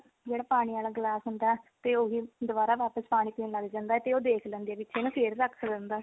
ਜਿਹੜਾ ਪਾਣੀ ਆਲਾ ਗਿਲਾਸ ਹੁੰਦਾ ਤੇ ਉਹੀ ਦੁਬਾਰਾ ਵਾਪਿਸ ਪਾਣੀ ਪੀਣ ਲੱਗ ਜਾਂਦਾ ਤੇ ਉਹ ਦੇਖ ਲੈਂਦੀ ਆ ਪਿੱਛੇ ਨੂੰ ਤੇ ਉਹ ਫੇਰ ਰੱਖ ਦਿੰਦਾ